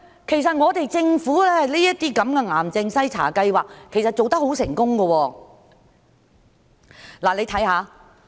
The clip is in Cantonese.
其實，政府這類癌症篩查計劃做得很成功。